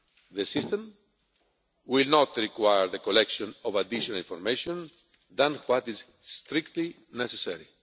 The system will not require the collection of additional information other than what is strictly necessary.